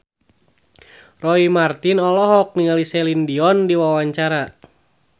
Roy Marten olohok ningali Celine Dion keur diwawancara